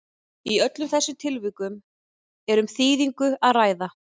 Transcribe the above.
í öllum þessum tilvikum er um þýðingu að ræða